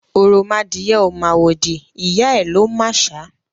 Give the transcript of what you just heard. Òròmadìẹ ò màwòdì, ìyá ẹ̀ ló màṣá.